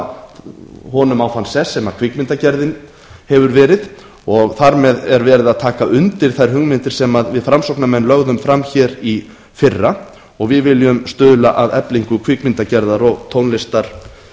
honum á þann sess sem kvikmyndagerðin hefur verið og þar með er geira að taka undir þær hugmyndir sem við framsóknarmenn lögðum fram í fyrra og við viljum stuðla að eflingu kvikmyndagerðar og